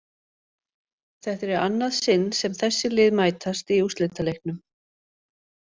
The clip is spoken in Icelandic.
Þetta er í annað sinn sem þessi lið mætast í úrslitaleiknum.